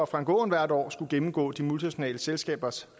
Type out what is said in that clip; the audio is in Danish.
frank aaen hvert år skulle gennemgå de multinationale selskabers